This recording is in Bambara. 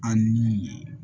An ni